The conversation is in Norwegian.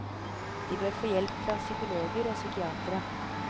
De bør få hjelp fra psykologer og psykiatere.